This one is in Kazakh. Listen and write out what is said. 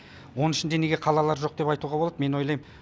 оның ішінде неге қалалар жоқ деп айтуға болады мен ойлайм